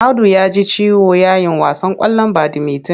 Audu ya ji ciwo yayin wasan ƙwallon badimitin.